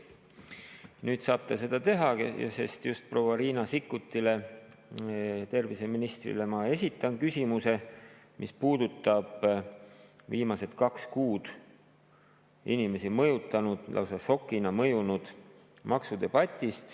Nüüd saab ta seda teha, sest just proua Riina Sikkutile, terviseministrile, ma esitan küsimuse, mis puudutab viimased kaks kuud inimesi mõjutanud ja neile lausa šokina mõjunud maksudebatti.